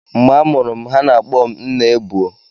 Mgbe a mụrụ m, ha na-akpọ m "Nnaebuo"